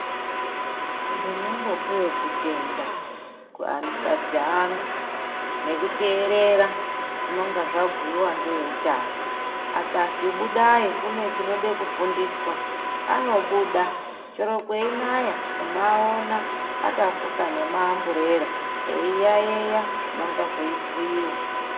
Ndinombopevo kutenda kuanikazi angu nekuterera zvinonga zvabhuiva neveutano. Akazwi budai kune chinode kufundiswa anobuda chero kweinaya unoona akafuka nemaamburera eiyayeya zvinonga zveibhuiva.